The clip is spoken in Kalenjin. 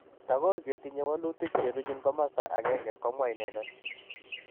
Tokor ketinye walutik cheruchin komasta agenge. Komwa inendet